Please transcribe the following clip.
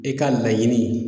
E ka laɲini